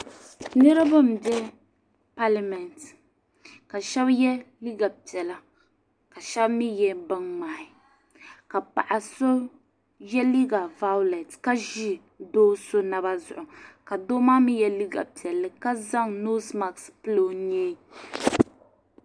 niriba m-be palimɛnti ka shɛba ye liiga piɛla ka shɛba mi ye biŋmŋmahi ka paɣa so ye liiga vaɣulɛti ka ʒi do' so naba zuɣu ka doo maa mi ye liiga piɛlli ka zaŋ noosi masiki pili o nyee